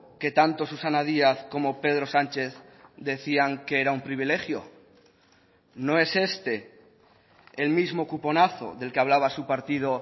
que tanto susana díaz como pedro sánchez decían que era un privilegio no es este el mismo cuponazo del que hablaba su partido